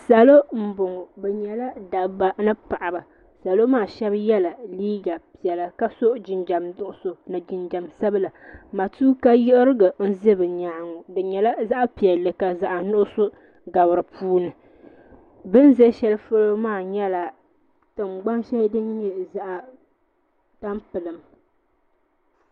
Salo mbɔŋɔ bɛ nyɛla dabba ni paɣaba salo maa shɛb yɛla liiga piɛlla ka so jinjam nuɣiso ni jinjam sabila matuuka yiɣirigu n-za bɛ nyɛnga bɛ nyɛla zaɣi piɛlli ka zaɣi nuɣiso gabi di puuni bɛn zi shɛli polo maa tingbani shɛli din nyɛ zaɣi tampilim.